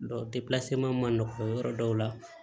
ma nɔgɔ yɔrɔ dɔw la